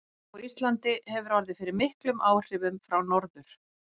Hjúkrun á Íslandi hefur orðið fyrir miklum áhrifum frá Norður